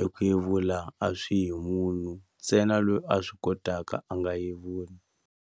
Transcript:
eku yevula a swi yi hi munhu ntsena loyi a swi kotaka a nga yevula.